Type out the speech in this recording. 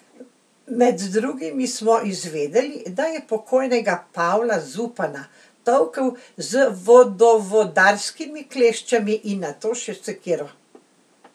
Med drugim smo izvedeli, da je pokojnega Pavla Zupana tolkel z vodovodarskimi kleščami in nato še sekiro.